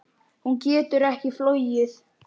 Hún getur ekki flogið.